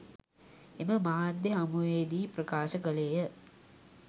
එම මාධ්‍ය හමුවේ දී ප්‍රකාශ කළේය.